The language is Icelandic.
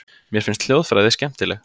Mér finnst hljóðfræði skemmtileg.